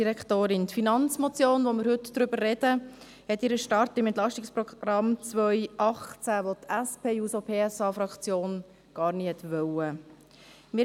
Die Finanzmotion, über die wir heute sprechen, hat ihren Ursprung im EP 2018, das die SP-JUSO-PSA-Fraktion gar nie wollte.